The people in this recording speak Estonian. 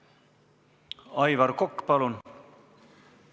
Aivar Kokk, palun!